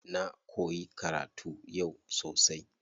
Na koyi karatu yau sosai.